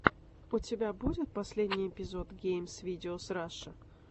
у тебя будет последний эпизод геймс видеос раша